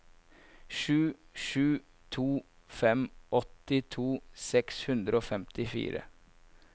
sju sju to fem åttito seks hundre og femtifire